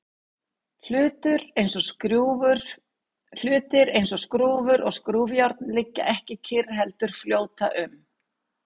hlutir eins og skrúfur og skrúfjárn liggja ekki kyrr heldur fljóta um